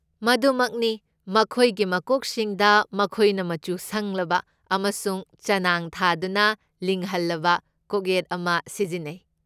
ꯃꯗꯨꯃꯛꯅꯤ! ꯃꯈꯣꯏꯒꯤ ꯃꯀꯣꯛꯁꯤꯡꯗ, ꯃꯈꯣꯏꯅ ꯃꯆꯨ ꯁꯪꯂꯕ ꯑꯃꯁꯨꯡ ꯆꯅꯥꯡ ꯊꯥꯗꯨꯅ ꯂꯤꯡꯍꯜꯂꯕ ꯀꯣꯛꯌꯦꯠ ꯑꯃ ꯁꯤꯖꯤꯟꯅꯩ꯫